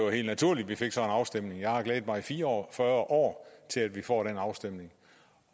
helt naturligt at vi fik sådan en afstemning jeg har glædet mig i fire og fyrre år til at vi får den afstemning